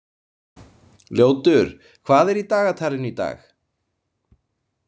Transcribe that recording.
Ljótur, hvað er í dagatalinu í dag?